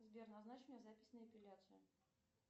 сбер назначь мне запись на эпиляцию